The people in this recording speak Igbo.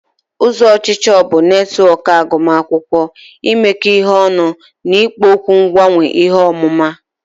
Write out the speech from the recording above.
ụzọ ọchịchọ bụ netwọk agụmakwụkwọ, imekọ ihe ọnụ na ikpo okwu mgbanwe ihe ọmụma.